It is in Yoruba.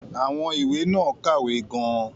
Àwọn ìwé náà kàwé gan-an.